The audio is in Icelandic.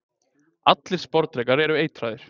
Allir sporðdrekar eru eitraðir.